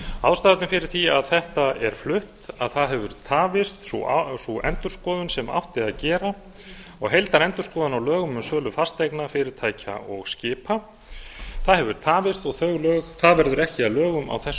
ástæðurnar fyrir því að þetta er flutt að það hefur tafist sú endurskoðun sem átti að gera og heildarendurskoðun á lögum um sölu fasteigna fyrirtækja og skipa það hefur tafist og það verður ekki að lögum á þessu